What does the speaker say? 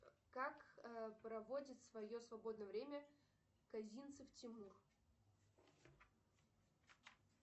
как проводит свое свободное время козинцев тимур